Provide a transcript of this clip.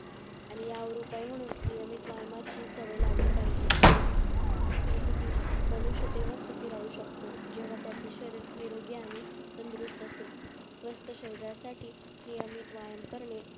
आणि यावर उपाय म्हणून नियमित व्यायामाचे सवय लावली पाहिजेल जसे कि मानुषतेव्ही सुखी राहू शकतो जेव्हा त्याचे शरीर निरोगी आणि तंदुरुस्त असेल तंदुरुस्त शरीरासाठी नीट व्यायाम करणे